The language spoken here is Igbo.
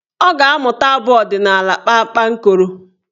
Ọ ga-amụta abụ ọdịnaala "kpakpankoro"